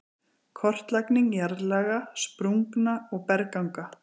Kortlagning jarðlaga, sprungna og bergganga